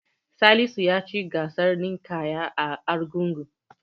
Salisu ya ci gasar ninƙayar a Argungu.